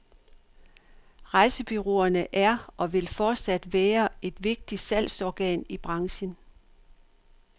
Rejsebureauerne er og vil fortsat være et vigtigt salgsorgan i branchen.